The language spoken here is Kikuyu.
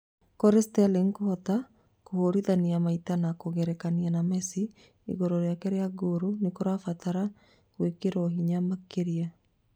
Kũrĩ Sterling kũhota kũhũrithania maita na kũgerekania na Messi igũrũ rĩake na ngolu nĩgũbatara gwĩkĩrwo hinya makĩria